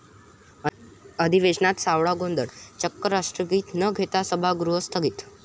अधिवेशनात सावळा गोंधळ, चक्क राष्ट्रगीत न घेता सभागृह स्थगित